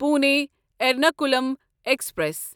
Pune Ernakulam express